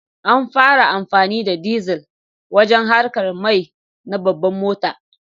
An fi amfani da dizal wajen haƙar mai na babban mota.